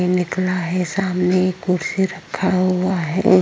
निकला है। सामने एक कुर्सी में रखा हुआ है।